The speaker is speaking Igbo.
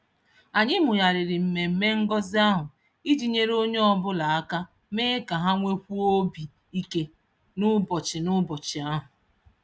Anyị mụgharịrị mmemme ngọzi ahụ iji nyere onye ọbụla aka mee ka ha nwekwuo obi ike n'ụbọchị n'ụbọchị ahụ.